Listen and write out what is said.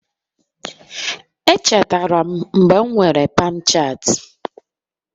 Echetere m mgbe m nwere Pamchat